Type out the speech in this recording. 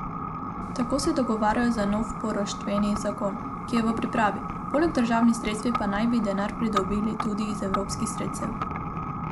Tako se dogovarjajo za nov poroštveni zakon, ki je v pripravi, poleg državnih sredstev pa naj bi denar pridobili tudi iz evropskih sredstev.